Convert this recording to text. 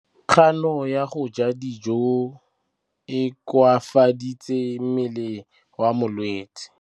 Kganô ya go ja dijo e koafaditse mmele wa molwetse.